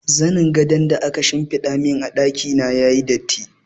Zanin gadon da aka shimfiɗa mun a ɗaki na yayi datti.